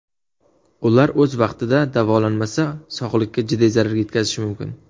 Ular o‘z vaqtida davolanmasa sog‘likka jiddiy zarar yetkazishi mumkin.